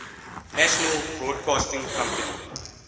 national broadcasting company